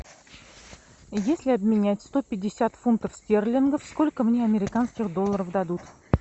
если обменять сто пятьдесят фунтов стерлингов сколько мне американских долларов дадут